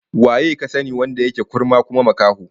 Waye ka sani wanda yake kurma kuma makaho?